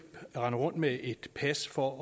rende rundt med et pas for